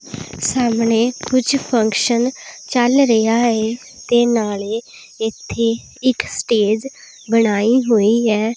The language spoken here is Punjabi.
ਸਾਹਮਣੇ ਕੁਝ ਫੰਕਸ਼ਨ ਚੱਲ ਰਿਹਾ ਏ ਤੇ ਨਾਲੇ ਇੱਥੇ ਇੱਕ ਸਟੇਜ ਬਣਾਈ ਹੋਈ ਹੈ।